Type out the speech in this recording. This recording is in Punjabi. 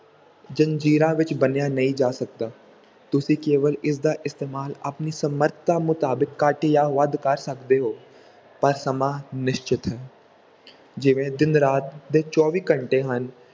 ਜ਼ੰਜ਼ੀਰਾਂ ਵਿੱਚ ਬੰਨਿਆ ਨਹੀਂ ਜਾ ਸਕਦਾ, ਤੁਸੀਂ ਕੇਵਲ ਇਸਦਾ ਇਸਤੇਮਾਲ ਆਪਣੀ ਸਮਰਥਾ ਮੁਤਾਬਿਕ ਘੱਟ ਜਾਂ ਵੱਧ ਕਰ ਸਕਦੇ ਹੋ ਪਰ ਸਮਾਂ ਨਿਸ਼ਚਿਤ ਹੈ ਜਿਵੇਂ ਦਿਨ ਰਾਤ ਦੇ ਚੌਵੀ ਘੰਟੇ ਹਨ,